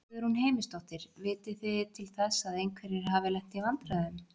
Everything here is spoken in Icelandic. Guðrún Heimisdóttir: Vitið þið til þess að einhverjir hafi lent í vandræðum?